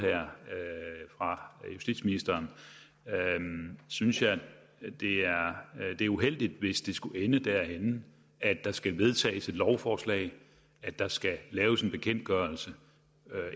her fra justitsministeren synes jeg det er uheldigt hvis det skulle ende derhenne at der skal vedtages et lovforslag at der skal laves en bekendtgørelse